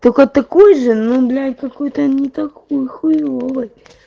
только такой же ну блин какой-то не такой хуевый